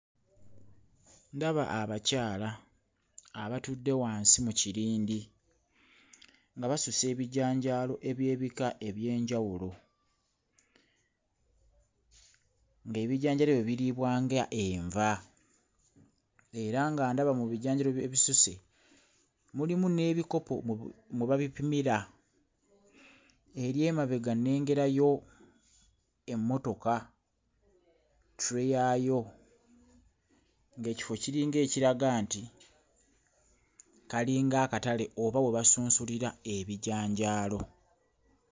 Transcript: Ndaba abakyala abatudde wansi mu kirindi nga basusa ebinjanjaalo eby'ebika eby'enjawulo ng'ebijanjaalo ebyo biriibwa nga enva era nga ndaba mu bijanjaalo ebisuse mulimu n'ebikopo mu bu mwe babipimira, eri emabega nnengerayo emmotoka, tray yaayo ng'ekifo kiringa ekiraga nti kalinga akatale oba we basunsulira ebijanjaalo.